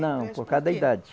Não, por causa da idade.